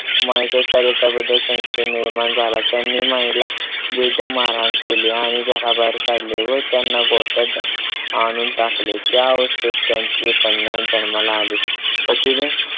माईच्या चारित्र्याबद्दल संशय निर्माण झाला. त्यांनी माईला बेदम मारहाण केली. आणि घराबाहेर काढले व त्यांना गोठ्यात आणून टाकले. त्या अवस्थेत त्यांची कन्या जन्माला आली. तर तिने